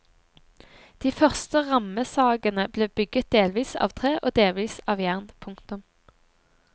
De første rammesagene ble bygget delvis av tre og delvis av jern. punktum